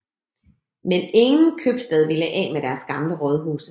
Men ingen købstad ville af med deres gamle rådhuse